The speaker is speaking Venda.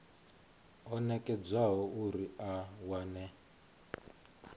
o nekedzwaho uri a wane